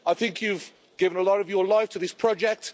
I think you've given a lot of your life to this project.